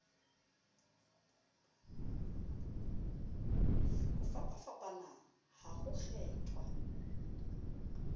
ho fapafapana ha ho kgethwa